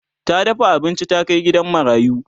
ta dafa abinci ta Kai gidan marayu